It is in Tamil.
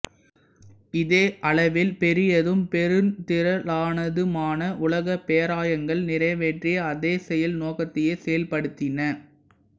இவை அளவில் பெரியதும் பெருந்திரளானதுமான உலகப் பேராயங்கள் நிறைவேற்றிய அதே செயல்நோக்கத்தையே செயல்படுத்தின